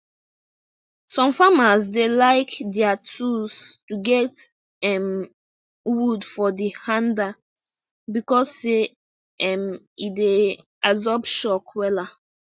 some farmers dey like dier tools to get um wood for de hander becos say um e dey absorb shock wela